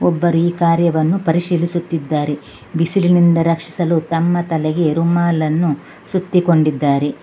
ಒಬ್ಬರಿ ಕಾರ್ಯವನ್ನು ಪರಿಶೀಲಿಸುತ್ತಿದ್ದಾರೆ ಬಿಸಿಲಿನಿಂದ ರಕ್ಷಿಸಲು ತಮ್ಮ ತಲೆಗೆ ರುಮಾಲನ್ನು ಸುತ್ತಿಕೊಂಡಿದ್ದಾರೆ.